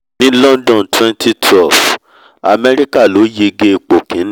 ní london 2012 america ló yege ipò kíní